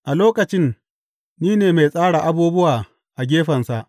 A lokacin ni ne mai tsara abubuwa a gefensa.